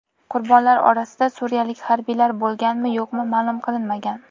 Qurbonlar orasida suriyalik harbiylar bo‘lganmi-yo‘qmi ma’lum qilinmagan.